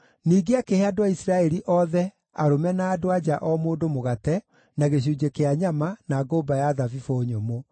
Ningĩ akĩhe andũ a Isiraeli othe, arũme na andũ-a-nja o mũndũ mũgate, na gĩcunjĩ kĩa nyama, na ngũmba ya thabibũ nyũmũ.